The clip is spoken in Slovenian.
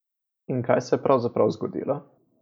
In kaj se je pravzaprav zgodilo?